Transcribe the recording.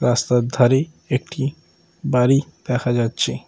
রাস্তার ধারে একটি বাড়ি দেখা যাচ্ছে।